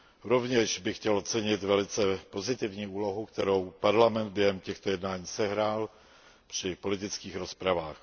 Rovněž bych chtěl ocenit velice pozitivní úlohu, kterou Parlament během těchto jednání sehrál při politických rozpravách.